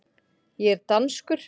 Ég er danskur.